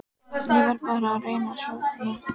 Ég verð bara að reyna að sofna.